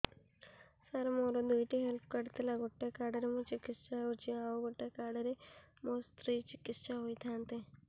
ସାର ମୋର ଦୁଇଟି health card ଥିଲା ଗୋଟେ କାର୍ଡ ରେ ମୁଁ ଚିକିତ୍ସା ହେଉଛି ଆଉ ଗୋଟେ କାର୍ଡ ରେ ମୋ ସ୍ତ୍ରୀ ଚିକିତ୍ସା ହୋଇଥାନ୍ତେ